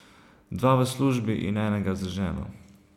Dva v službi in enega z ženo.